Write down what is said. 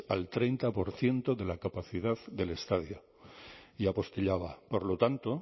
al treinta por ciento de la capacidad del estadio y apostillaba por lo tanto